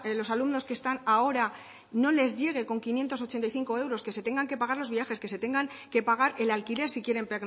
los alumnos que están ahora no les llegue con quinientos ochenta y cinco euros que se tengan que pagar los viajes que se tengan que pagar el alquiler si quieren